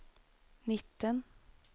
nitten